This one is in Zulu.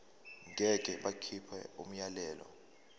ngeke bakhipha umyalelo